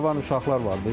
Cavan uşaqlar var idi.